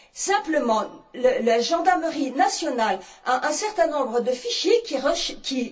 Simplement, la gendarmerie nationale a un certain nombre de fichiers qui...